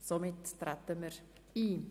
–Nein, somit treten wir darauf ein.